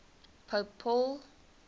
pope paul